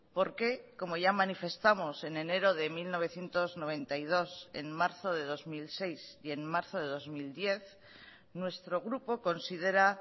porque como ya manifestamos en enero de mil novecientos noventa y dos en marzo de dos mil seis y en marzo de dos mil diez nuestro grupo considera